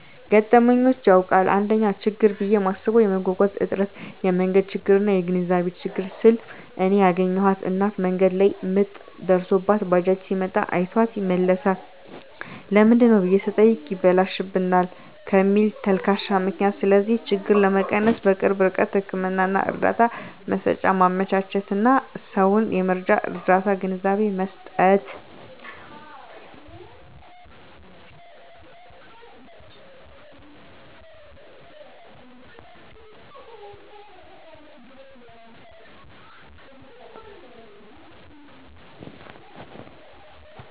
ገጥሞኝ ያዉቃል: 1ኛ :ችግር ብየ ማስበዉ የመጓጓዣ እጥረት የመንገድ ችግርና : (የግንዛቤ ችግር) ስል እኔ ያገኘኋት እናት መንገድ ላይ ምጥ ደርሶባት ባጃጅ ሲመጣ አይቷት ይመለሳል ለምንድነው ብየ ስጠይቅ ይበላሽብናል ከሚል ተልካሻ ምክንያት ስለዚህ ችግር ለመቀነስ_በቅርብ ርቀት ህክምና እርዳታ መሰጫ ማመቻቸትና: ሰዉን የመጀመርያ ርዳታ ግንዛቤ መስጠት።